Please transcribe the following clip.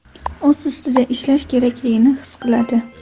O‘z ustida ishlash kerakligini his qiladi.